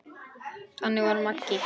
Þannig var Maggi.